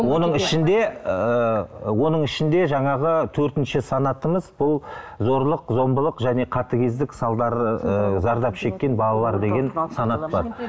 оның ішінде ыыы оның ішінде жаңағы төртінші санатымыз бұл зорлық зомбылық және қатыгездік салдары ы зардап шеккен балалар деген санат бар